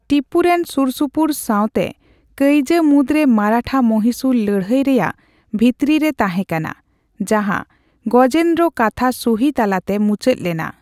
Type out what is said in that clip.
ᱴᱤᱯᱩ ᱨᱮᱱ ᱥᱩᱨᱥᱩᱯᱩᱨ ᱥᱟᱣᱛᱮ ᱠᱟᱹᱭᱡᱟᱹ ᱢᱩᱫᱨᱮ ᱢᱟᱨᱟᱴᱷᱟᱼᱢᱚᱦᱤᱥᱩᱨ ᱞᱟᱹᱲᱦᱟᱹᱭ ᱨᱮᱭᱟᱜ ᱵᱷᱤᱛᱨᱤ ᱨᱮ ᱛᱟᱦᱮᱸᱠᱟᱱᱟ, ᱡᱟᱦᱟᱸ ᱜᱚᱡᱮᱱᱫᱨᱚ ᱠᱟᱛᱷᱟ ᱥᱩᱦᱤ ᱛᱟᱞᱟᱛᱮ ᱢᱩᱪᱟᱹᱫ ᱞᱮᱱᱟ ᱾